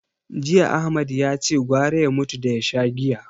Jiya Ahmad yace gwara ya mutu da ya sha giya.